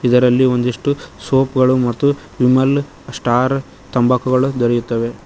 ಇದರಲ್ಲಿ ಒಂದಿಷ್ಟು ಸೋಪ್ ಗಳು ಮತ್ತು ವಿಮಲ್ ಸ್ಟಾರ್ ತಂಬಾಕುಗಳು ದೊರೆಯುತ್ತವೆ